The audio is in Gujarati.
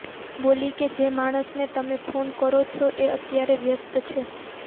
બોલી કે જે માણસને તમે ફોન કરો છો એ અત્યારે વ્યસ્ત છે